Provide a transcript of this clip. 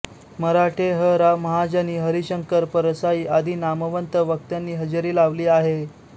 मराठे ह रा महाजनी हरिशंकर परसाई आदी नामवंत वक्त्यांनी हजेरी लावली आहे